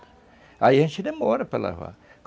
Aí a gente demora para lavar.